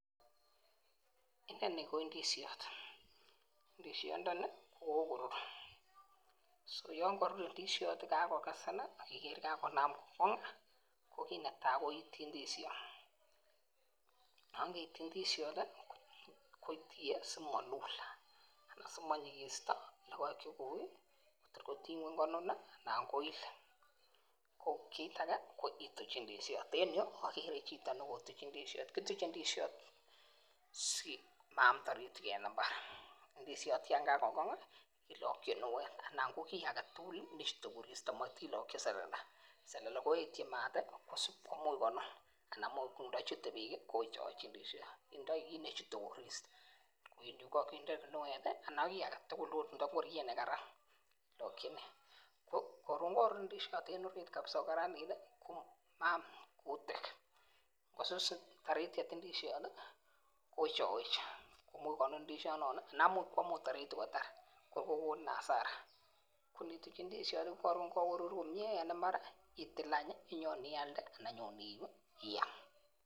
Inoni ko indisheot ndishondoni ko kokorur so yon kokorur indisheot kakokesen kakonam kokongi ko kit netai ko itii indisheot, yon keitii I dishot tii kotie simolul anan simoinyikisyo lokoek chekoi Kotor kotinye ngweny konun nii anan koil. Kit agek ko ituch indisheot, kituch ndishot simaam taritik en imbar. Ndishot yon kakokong kilokin kinwet ana ko kii agetutuk nechute koristo amot kilokin selele, selele koyetyin maat tii ana imuch konun ak ndochute beek kii kowechowechi ndishot, kindo kit nechute koristo yekokinde kinwet tii ana ko kii agetutuk Indo ngoriet nekaran kilokinen. Korun korur indishot en orit kabisa ko karanit tii komaam kutik , nkosus tarityet ndishot tii kowechowechi imuch konun ndishot non nii anan imuch kwam taritik kotar kokoni asara ko nituch ndishot ko korun ko korur komie ana mara itil any inyon ialde anan inyon iam.